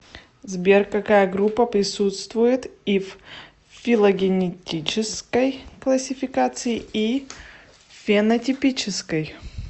сбер какая группа присутствует и в филогенетической классификации и в фенотипической